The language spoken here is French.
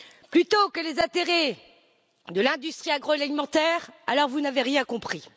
plutôt que les intérêts de l'industrie agroalimentaire, alors vous n'avez rien compris.